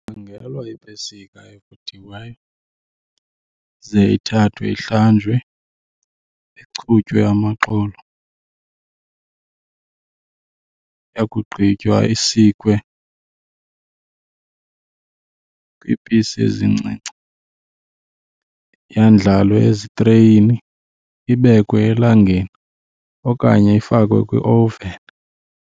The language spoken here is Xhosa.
Khangelwa iipesika evuthiweyo ze ithathwe ihlanjwe, ichutywe amaxolo. Yakugqithwa isikwe kwiipisi ezincinci, yandlalwe ezitreyini ibekwe elangeni okanye ifakwe kwiowuveni.